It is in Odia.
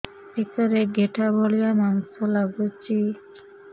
ବେକରେ ଗେଟା ଭଳିଆ ମାଂସ ଲାଗୁଚି